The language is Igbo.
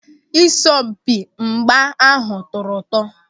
Asọmpi mgba ahụ tọrọ ụtọ.